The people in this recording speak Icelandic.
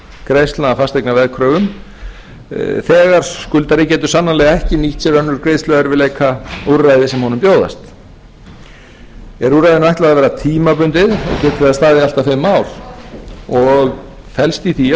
greiðslna fasteigna á veðkröfum þegar skuldari getur sannanlega ekki nýtt sér önnur greiðsluerfiðleikaúrræði sem honum bjóðast er úrræðinu ætlað að vera tímabundið geta staðið allt að fimm ár og felst í því að